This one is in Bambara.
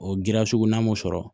O giriya sugu n'an m'o sɔrɔ